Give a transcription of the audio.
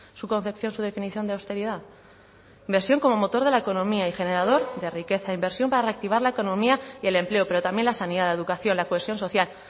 su concepción su definición de austeridad inversión como motor de la economía y generador de riqueza inversión para reactivar la economía y el empleo pero también la sanidad la educación la cohesión social